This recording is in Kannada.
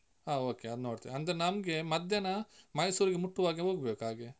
ಹ okay ಅದ್ ನೋಡ್ತೇವೆ. ಅಂದ್ರೆ ನಮ್ಗೆ ಮಧ್ಯಾಹ್ನ ಮೈಸೂರಿಗೆ ಮುಟ್ಟುವ ಹಾಗೆ ಹೋಗ್ಬೇಕು ಹಾಗೆ.